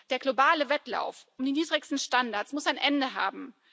Der globale Wettlauf um die niedrigsten Standards muss ein Ende haben.